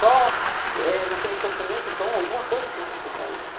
Só eh, naquele sofrimento, então, alguma coisa tem que explicar isso.